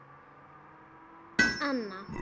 Þórunn Anna.